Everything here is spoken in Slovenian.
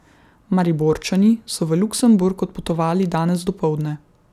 Mariborčani so v Luksemburg odpotovali danes dopoldne.